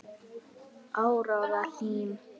Áróra Hlín.